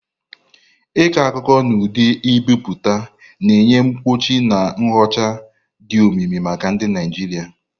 Ịkọ akụkọ n'ụdị ebipụta, na-enye mkpuchi na nyocha dị omimi maka ndị Naijiria.